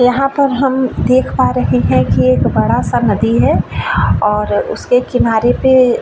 यहाँ पर हम देख पा रहे है कि एक बड़ा सा नदी है और उसके किनारे पे --